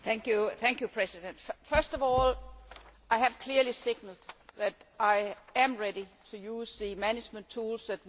First of all, I have clearly signalled that I am ready to use the management tools that we have available.